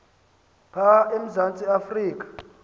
pha emzantsi afrika